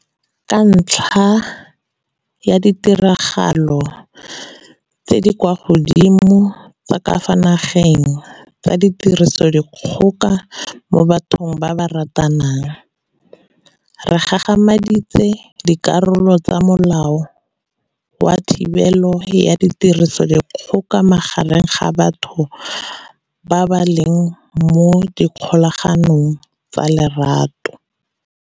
Ka ntlha ya ditiragalo tse di kwa godimo tsa ka fa nageng tsa tirisodikgoka mo bathong ba ba ratanang, re gagamaditse dikarolo tsa Molao wa Thibelo ya Tirisodikgoka Magareng ga Batho ba ba Leng mo Kgolaganong ya Lorato.